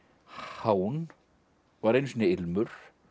hán var einu sinni ilmur